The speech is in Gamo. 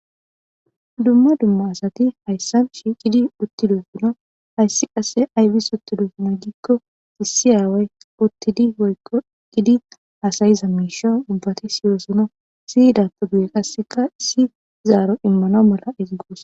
dumma dumma asati hayssan shi gidi uttiduufuna hayssi qasse aybis utti duufuna giikko issi aaway uttidi oykko gidi asayiza miisho ubbati siyoosona siidattu guye qasseka issi zaaro immano mala izigoos